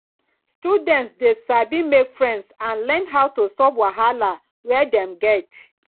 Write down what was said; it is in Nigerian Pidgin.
students de sabi make friends and learn how to solve wahala wey dem get